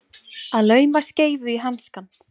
Að lauma skeifu í hanskann